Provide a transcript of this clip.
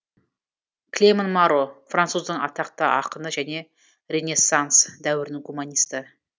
клеман маро француздың атақты ақыны және ренессанс дәуірінің гуманисті